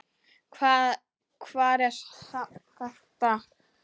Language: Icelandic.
Hvar er safn þetta?